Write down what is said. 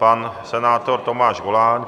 Pan senátor Tomáš Goláň?